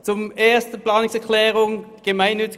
Zur Planungserklärung 1: